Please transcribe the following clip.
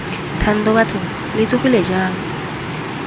thando bathong lo tsogile jang